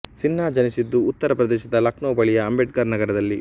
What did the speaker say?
ಸಿನ್ಹಾ ಜನಿಸಿದ್ದು ಉತ್ತರ ಪ್ರದೇಶದ ಲಕ್ನೋ ಬಳಿಯ ಅಂಬೇಡ್ಕರ್ ನಗರದಲ್ಲಿ